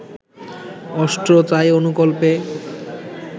Austro-Tai অনুকল্পে